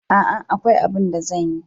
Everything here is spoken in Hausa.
A'a, akwai abun da zan yi.